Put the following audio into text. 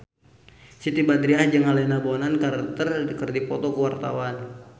Siti Badriah jeung Helena Bonham Carter keur dipoto ku wartawan